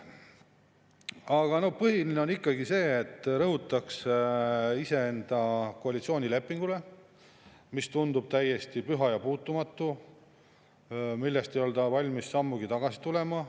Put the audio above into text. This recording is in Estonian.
Aga no põhiline on ikkagi see, et rõhutakse iseenda koalitsioonilepingule, mis tundub täiesti püha ja puutumatu, millest ei olda valmis sammugi tagasi tulema.